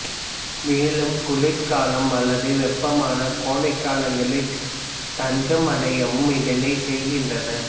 மேலும் குளிர்காலம் அல்லது வெப்பமான கோடைக்காலங்களில் தஞ்சமடையவும் இதனைச் செய்கின்றன